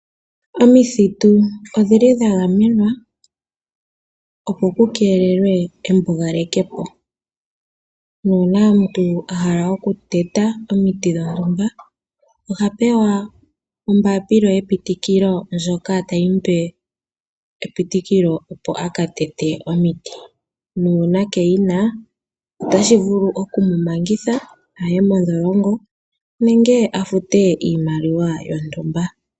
Omithitu odhili dha gamenwa, opo ku keelelwe embugalo, nuuna omuntu ahala oku teta omiti dhontumba oha pewa ombapila yepitikilo, ndjoka tayimu pe epitikilo opo aka tete omiti, nuuna keyina otashi vulu oku mu mangitha aye modholongo nenge afute iimaliwa yontumba.